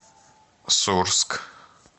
сурск